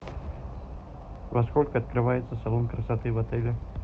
во сколько открывается салон красоты в отеле